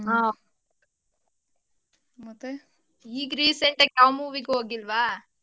ಆ ಮತ್ತೆ ಈಗ್ recent ಆಗ್ ಯಾವ್ movie ಗೂ ಹೋಗಿಲ್ವಾ?